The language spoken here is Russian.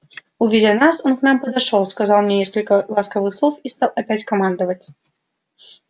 увидя нас он к нам подошёл сказал мне несколько ласковых слов и стал опять командовать